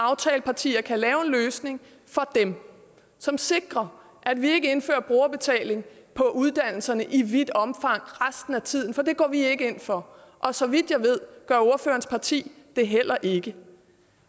aftalepartierne kan lave en løsning for dem som sikrer at vi ikke indfører brugerbetaling på uddannelserne i vidt omfang resten af tiden for det går vi ikke ind for og så vidt jeg ved gør ordførerens parti det heller ikke